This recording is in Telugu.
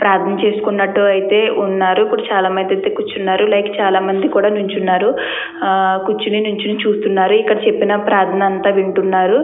ప్రార్థన చేసుకున్నట్టే ఉన్నారు. ఇక్కడ చాలామంది అయితే కూర్చున్నారు లైక్ చాలామంది కూడా నించున్నారు. కూర్చుని నించొని చూస్తున్నారు. ఇక్కడ చెప్తున్నా ప్రార్థన అంత వింటున్నారు.